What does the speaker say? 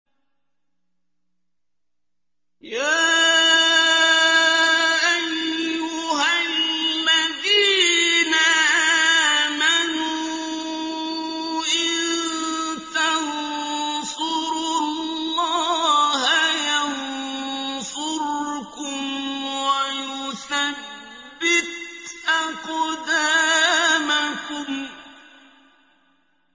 يَا أَيُّهَا الَّذِينَ آمَنُوا إِن تَنصُرُوا اللَّهَ يَنصُرْكُمْ وَيُثَبِّتْ أَقْدَامَكُمْ